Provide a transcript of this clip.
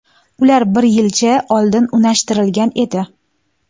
Ular bir yilcha oldin unashtirilgan edi.